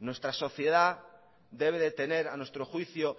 nuestra sociedad debe de tener a nuestro juicio